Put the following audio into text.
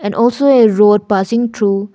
and also a road passing through--